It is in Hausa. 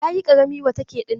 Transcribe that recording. Yayi ƙarami wa take dinnan.